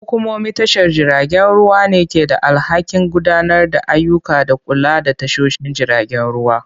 Hukumomin tashar jiragen ruwa ne ke da alhakin gudanar da ayyuka da kula da tashoshin jiragen ruwa.